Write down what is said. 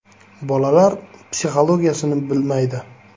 Bolalar psixologiyasini bilmaydi.